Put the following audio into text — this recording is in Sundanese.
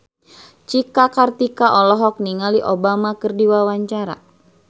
Cika Kartika olohok ningali Obama keur diwawancara